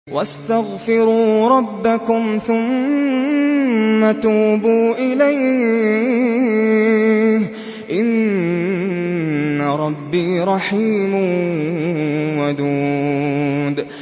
وَاسْتَغْفِرُوا رَبَّكُمْ ثُمَّ تُوبُوا إِلَيْهِ ۚ إِنَّ رَبِّي رَحِيمٌ وَدُودٌ